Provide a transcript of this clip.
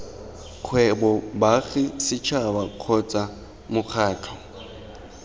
kgwebo baagi setšhaba kgotsa mokgatlho